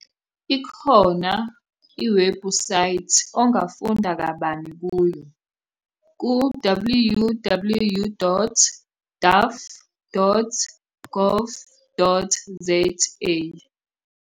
Ikhona iwebhusayithi ongafunda kabana kuyo- ku-- www.daff.gov.za.